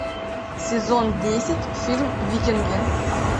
сезон десять фильм викинги